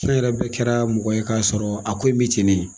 An yɛrɛ bɛɛ kɛra mɔgɔ ye k'a sɔrɔ a ko in bɛ tennen.